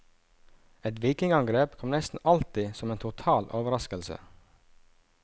Et vikingangrep kom nesten alltid som en total overraskelse.